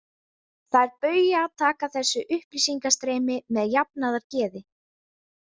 Þær Bauja taka þessu upplýsingastreymi með jafnaðargeði.